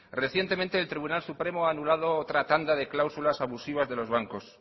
recientemente el tribunal supremo ha anulado otra tanda de cláusulas abusivas de los bancos